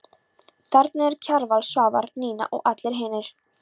Þarna eru Kjarval, Svavar, Nína og allir hinir.